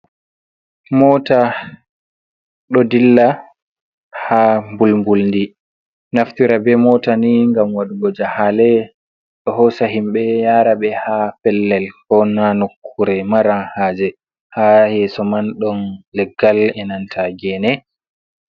Mota ɗo dilla ha mbulmbuldi. Naftira be mota ni ngam waɗugo jahale. Ɗo hosa himbe yara be ha pellel ko nanokkure mara haje. Ha yeso man ɗon leggal e nanta gene.